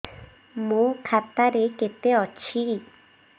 ମୋ ଖାତା ରେ କେତେ ଅଛି